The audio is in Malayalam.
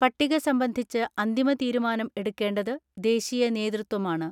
പട്ടിക സംബന്ധിച്ച് അന്തിമ തീരുമാനം എടുക്കേണ്ടത് ദേശീയ നേതൃത്വമാണ്.